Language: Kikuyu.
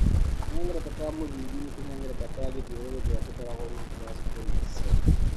Tũhengereta twa mũthingi nĩ tũhengereta twa gĩthiũrũrĩ tũrĩa tũkoragũo rungu rwa squamous cells.